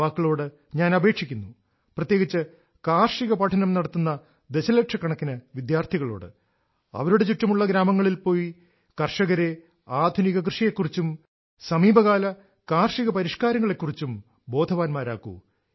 യുവാക്കളോട് ഞാൻ അപേക്ഷിക്കുന്നു പ്രത്യേകിച്ച് കാർഷിക പഠനം നടത്തുന്ന ദശലക്ഷക്കണക്കിന് വിദ്യാർത്ഥികളോട് അവരുടെ ചുറ്റുമുള്ള ഗ്രാമങ്ങളിൽ പോയി കർഷകരെ ആധുനിക കൃഷിയെക്കുറിച്ചും സമീപകാല കാർഷിക പരിഷ്കാരങ്ങളെക്കുറിച്ചും ബോധവാന്മാരാക്കൂ